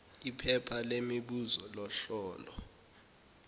iphepha lemibuzo lohlolo